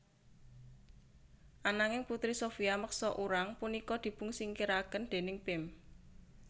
Ananging Putri Sophia meksa urang punika dipunsingkiraken déning Pim